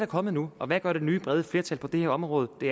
kommet nu hvad gør det nye brede flertal på det her område det